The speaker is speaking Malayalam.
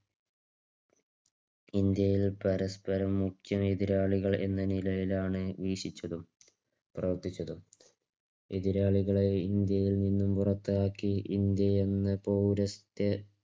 ഇന്ത്യയിൽ പരസ്പരം മുഖ്യ എതിരാളികൾ എന്ന നിലയിലാണ് വീക്ഷിച്ചത്. പ്രവർത്തിച്ചത്. എതിരാളികളെ ഇന്ത്യയിൽ നിന്നും പുറത്താക്കി ഇന്ത്യ എന്നപൗരസ്ഥ